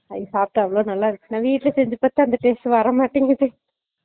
அத சாப்டேன் அவளோ நல்லா இருந்துச்சு நான் வீட்ல செஞ்சு பாத்தா அந்த taste வர மாட்டிங்குது